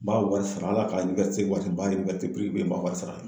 N b'a wari sara hal'a ka waati wari n b'a sara